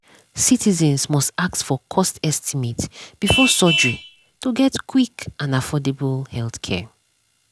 citizens must ask for cost estimate before surgery to get quick and affordable healthcare.